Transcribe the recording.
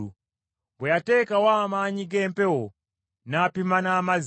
Bwe yateekawo amaanyi g’empewo, n’apima n’amazzi,